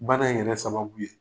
Bana in yɛrɛ sababu ye?